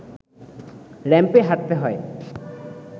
র‌্যাম্পে হাঁটতে হয়